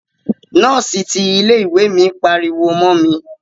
Nọ́ọ́si ti ilé ìwé mi pariwo mọ mi.